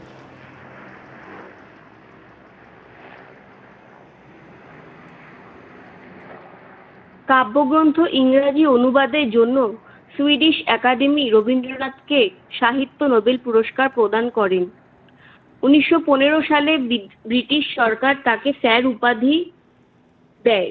কাব্যগ্রন্থ ইংরাজি অনুবাদের জন্য সুইডিশ একাডেমী রবীন্দ্রনাথকে সাহিত্যে নোবেল পুরস্কার প্রদান করেন। উনিশশো পনেরো সাল ব্রিটিশ সরকার তাকে স্যার উপাধি দেয়।